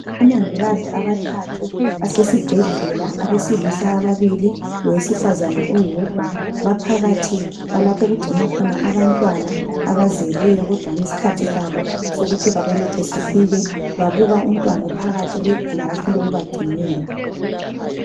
Omongikazi abathathu basesibhedlela abesilisa ababili lowesifazana oyedwa baphakathi kwalapho kugcinwa khona abantwana abazelweyo kódwani skhathi sabo sokuthi babelethwe sifike. Babuka umntwano phakathi kweglass loku bagcinela .